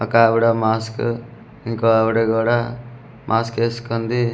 ఒకావిడ మాస్కు ఇంకో ఆవిడ కూడా మాస్కేసుకుంది .